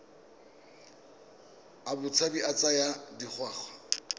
a botshabi a tsaya dingwaga